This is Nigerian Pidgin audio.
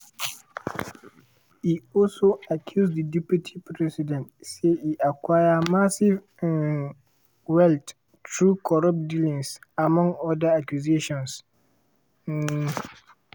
e also accuse di deputy president say e acquire massive um wealth through corrupt dealings among oda accusations. um